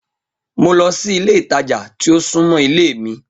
Mo lọ si ile itaja ti o sunmọ ile mi.